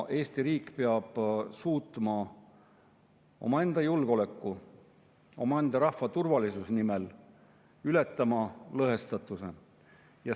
Eesti riik peab omaenda julgeoleku, omaenda rahva turvalisuse nimel suutma lõhestatust ületada.